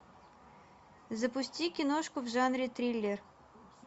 запусти киношку в жанре триллер